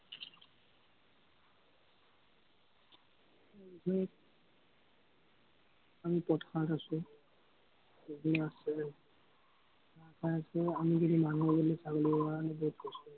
উম আমি পথাৰত আছো। আছিলে, মানুহৰ বদলি ছাগলি হোৱা হলে